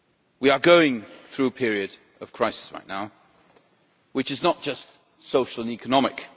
We are going through a period of crisis right now which is not just social and economic.